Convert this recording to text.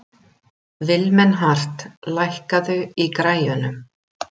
Vilmenhart, lækkaðu í græjunum.